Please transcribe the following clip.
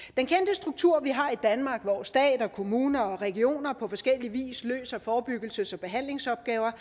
struktur vi har i danmark hvor stat kommuner og regioner på forskellig vis løser forebyggelses og behandlingsopgaver